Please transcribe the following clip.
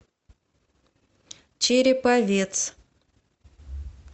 череповец